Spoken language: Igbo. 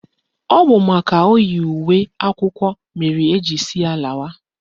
Ọ bụ makana o yi uwe akwụkwọ mere eji sị ya lawa